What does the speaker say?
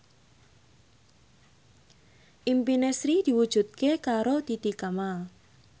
impine Sri diwujudke karo Titi Kamal